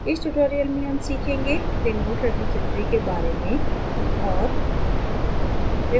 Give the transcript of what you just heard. इस tutorial में हम सीखेंगेremote repository के बारे में और